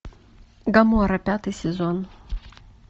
гоморра пятый сезон